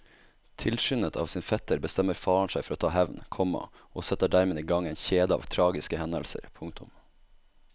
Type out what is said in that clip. Tilskyndet av sin fetter bestemmer faren seg for å ta hevn, komma og setter dermed i gang en kjede av tragiske hendelser. punktum